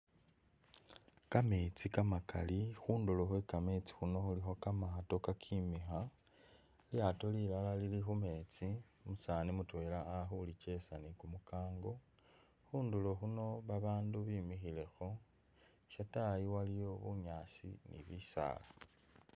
Kameetsi kamakali khundulo khwe kameetsi kano khulikho kamaato kakemikha, lilyaato lilala lili khu meetsi, umusaani mutwela ali khulikyesa ni kumukango. Khundulo khuno babandu bimikhilekho, shatayi waliyo bunyaasi ni bisaala.